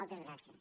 moltes gràcies